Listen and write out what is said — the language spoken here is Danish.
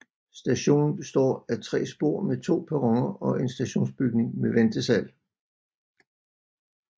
Stationen består af tre spor med to perroner og en stationsbygning med ventesal